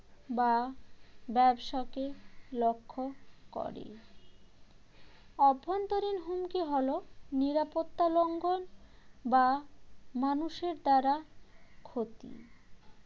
বা ব্যবসাকে লক্ষ্য করে অভ্যন্তরীণ হুমকি হল নিরাপত্তা লঙ্ঘন বা মানুষের দ্বারা ক্ষতি